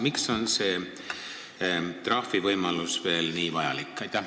Miks on see trahvivõimalus nii vajalik?